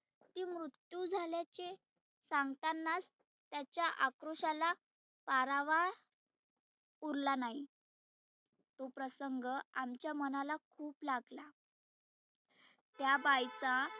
ती मृत्यु झाल्याचे सांगतानाच त्याच्या आक्रोशाला आरावा उरला नाही. तो प्रसंग आमच्या मनाला खुप लागला. त्या बाईचा